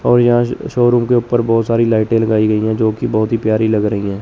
और यहां ज शोरूम के ऊपर बहोत सारी लाइटें लगाई गई हैं जो कि बहोत ही प्यारी लग रही हैं।